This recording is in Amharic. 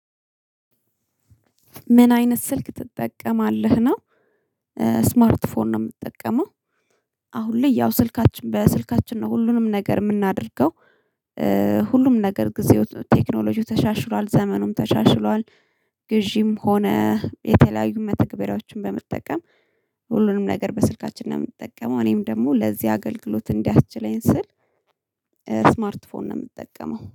ምን አይነት ስልክ ትጠቀማለህ ነው? ስማርት ፎን ነው የምጠቀመው። አሁን ላይ ያው ስልካችን በስልካችን ነው ሁሉንም ነገር የምናደርገው። ሁሉም ነገር ጊዜው ቴክኖሎጂው ተሻሽሏል ዘመኑም ተሻሽሏል። ግዢም ሆነ የተለያዩ መተግበሪያዎችን በመጠቀም ሁሉንም ነገር በስልካችን ነው የምንጠቀመው። እኔም ደግሞ ለዚህ አገልግሎት እንዲያስችለኝ ስል ስማርት ፎን ነው የምጠቀመው